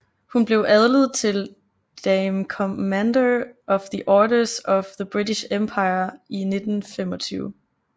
Hun blev adlet til Dame Commander of the Order of the British Empire i 1925